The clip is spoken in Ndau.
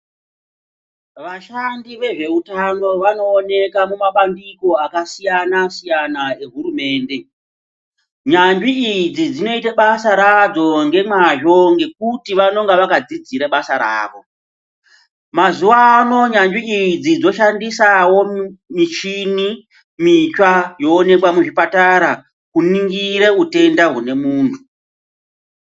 Vashandi vezveutano vanooneka kumabandiko akasiyana siyana ehurumende. Nyanzvi idzi dzinoita basa radzo ngemwazvo ngekuti vanonge vakadzidzre basa rawo. Mazuwano nyanzvi idzi dzoshandisawo michini mitsva yooneka muzvipatara kuningire utenda hwemuntu.